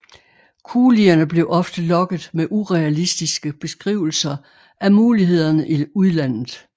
Kulierne blev ofte lokket med urealistiske beskrivelser af mulighederne i udlandet